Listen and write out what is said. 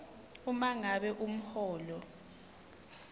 uma ngabe umholo